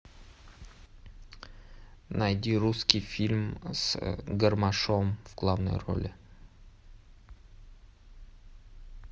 найди русский фильм с гармашом в главной роли